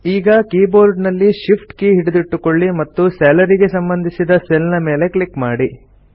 ಈಗ keyboard ನಲ್ಲಿ Shift key ಹಿಡಿದಿಟ್ಟುಕೊಳ್ಳಿ ಮತ್ತು ಸ್ಯಾಲರಿ ಗೆ ಸಂಬಂಧಿಸಿದ ಸೆಲ್ ನ ಮೇಲೆ ಕ್ಲಿಕ್ ಮಾಡಿ